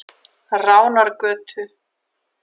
Ránargötu